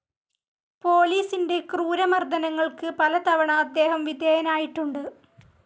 പോലീസിൻ്റെ ക്രൂരമർദനങ്ങൾക്ക് പലതവണ അദ്ദേഹം വിധേയനായിട്ടുണ്ട്.